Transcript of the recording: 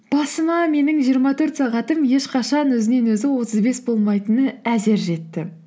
басыма менің жиырма төрт сағатым ешқашан өзінен өзі отыз бес болмайтыны әзер жетті